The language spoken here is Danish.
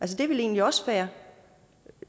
det er vel egentlig også fair